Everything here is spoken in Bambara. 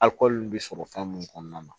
Akɔli bɛ sɔrɔ fɛn mun kɔnɔna na